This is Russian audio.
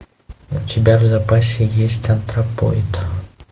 у тебя в запасе есть антропоид